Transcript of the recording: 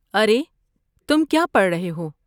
ارے، تم کیا پڑھ رہے ہو؟